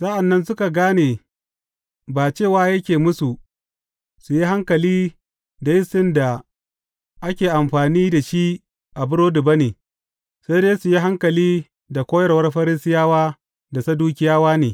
Sa’an nan suka gane ba cewa yake musu su yi hankali da yistin da ake amfani da shi a burodi ba ne, sai dai su yi hankali da koyarwar Farisiyawa da Sadukiyawa ne.